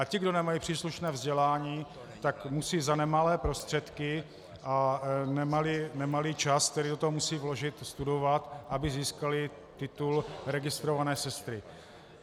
A ti, kdo nemají příslušné vzdělání, tak musí za nemalé prostředky a nemalý čas, který do toho musí vložit, studovat, aby získali titul registrované sestry.